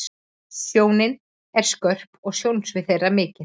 Sjónin er skörp og sjónsvið þeirra mikið.